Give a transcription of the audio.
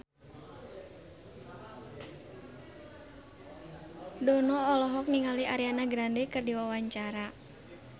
Dono olohok ningali Ariana Grande keur diwawancara